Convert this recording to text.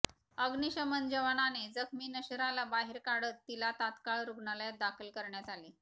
अग्निशमन जवानाने जखमी नशराला बाहेर काढत तिला तात्काळ रुग्णालयात दाखल करण्यात आले